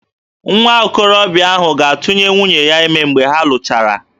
Nwa okorobịa ahụ ga-atụnye nwunye ya ime mgbe ha lụchara